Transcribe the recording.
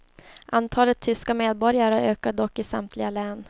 Antalet tyska medborgare ökar dock i samtliga län.